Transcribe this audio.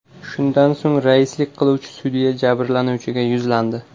Shundan so‘ng raislik qiluvchi sudya jabrlanuvchiga yuzlandi.